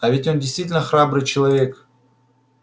а ведь он действительно храбрый человек